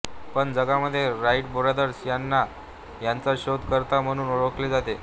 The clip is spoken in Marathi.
पण जगामध्ये राईट ब्रदर्स यांना याचा शोध करता म्हणून ओळखले जाते